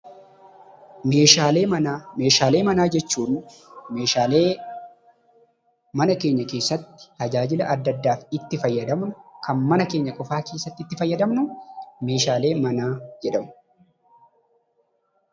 Meeshaalee manaa. Meeshaalee manaa jechuun meeshaalee mana keenya keessatti tajaajila adda addaaf itti fayyadamnu kan mana keenya qofaa keessatti itti fayyadamnu meeshaalee manaa jedhamu.